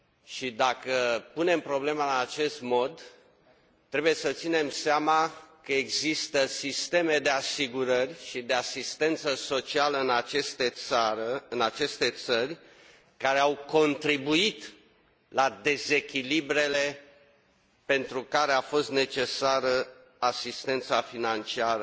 Și dacă punem problema în acest mod, trebuie să ținem seama că există sisteme de asigurări și de asistență socială în aceste țări care au contribuit la dezechilibrele pentru care a fost necesară asistența financiară